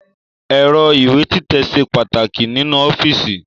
Ẹ̀rọ ìwé títẹ̀ ṣe pàtàkì nínú ọ́fíìsì